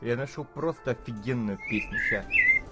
я нашёл просто офигенную песню сейчас